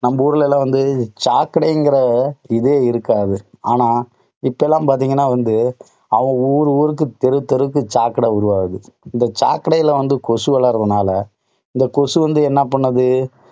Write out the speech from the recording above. நம்ம ஊர்லலெல்லாம் வந்து சாக்கடைங்கிற இதே இருக்காது. ஆனா இப்போ எல்லாம் பார்த்தீங்கன்னா வந்து, அவங்க ஊரு ஊருக்கு, தெரு தெருக்கு, சாக்கடை உருவாகுது. இந்த சாக்கடையில வந்து கொசு வலர்றதுனால அந்த கொசு வந்து என்ன பண்ணுது?